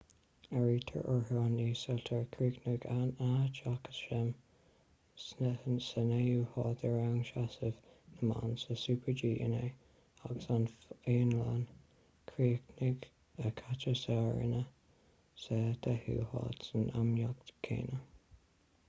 áirítear orthu an ísiltír - chríochnaigh anna jochemsen sa naoú háit i rang seasamh na mban sa super-g inné - agus an fhionlainn - chríochnaigh katja saarinen sa deichiú háit san imeacht chéanna